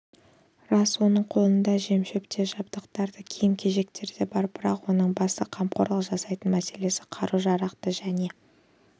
рас оның қолында жемшөп те жабдықтар да киім-кешектер де бар бірақ оның басты қамқорлық жасайтын мәселесі қару-жарақты және